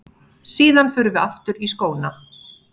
Síðan förum við aftur í skóna.